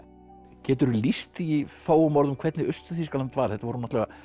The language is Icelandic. geturðu lýst því í fáum orðum hvernig Austur Þýskaland var þetta voru náttúrulega